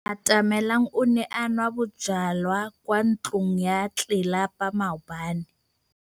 Atamelang o ne a nwa bojwala kwa ntlong ya tlelapa maobane.